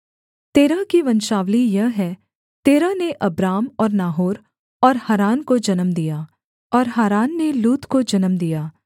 तेरह की वंशावली यह है तेरह ने अब्राम और नाहोर और हारान को जन्म दिया और हारान ने लूत को जन्म दिया